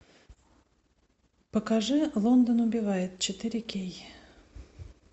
покажи лондон убивает четыре кей